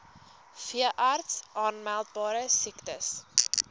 veeartse aanmeldbare siektes